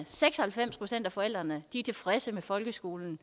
seks og halvfems procent af forældrene er tilfredse med folkeskolen